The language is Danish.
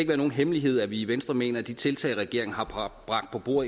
være nogen hemmelighed at vi i venstre mener at de tiltag regeringen